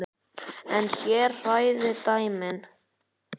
En hér hræða dæmin.